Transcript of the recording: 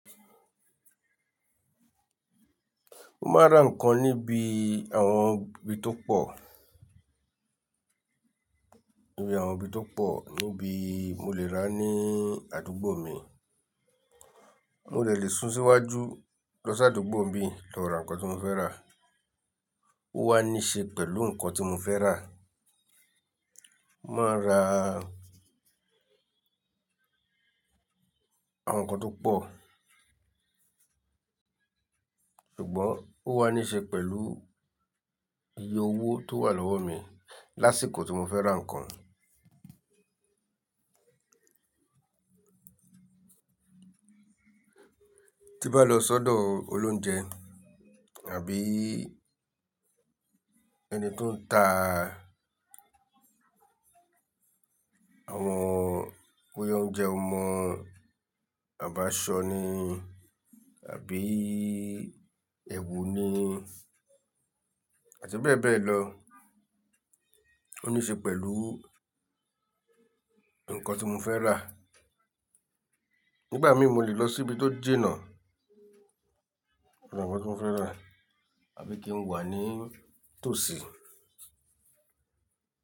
Mo máa ra nǹkan níbi àwọn ibi tó pọ̀, níbi àwọn ibi tó pọ̀ níbi mo lè rà ní àdúgbò mi. Mo dè lè sún síwájú lọ sí àdúgbò n bi lọ ra nǹkan tí mo fẹ́ rà. Ó wá ní ṣe pẹ̀lú nǹkan tí mo fẹ́ rà. Máa ra àwọn nǹkan tó pọ̀ ṣùgbọ́n ó wá ní ṣe pẹ̀lú iye owó tó wà lọ́wọ́ mi lásìkò tí mo fẹ́ ra nǹkan. Tí bá lọ sọ́dọ̀ olóunjẹ àbí ẹni tó ń ta àwọn boya oúnjẹ ọmọ àbáṣọ́ ni àbí ẹ̀wù ni àti bẹ́ẹ̀ bẹ́ẹ̀ lọ, ó ní ṣe pẹ̀lú nǹkan tí mo fẹ́ rà. Nígbà mí mo lè lọ sí ibi tó jìnà lọ ra nǹkan tí mo fẹ́ rà àbí kí n wà ní tòsí.